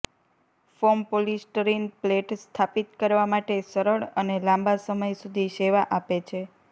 form polystyrene plate સ્થાપિત કરવા માટે સરળ અને લાંબા સમય સુધી સેવા આપે છે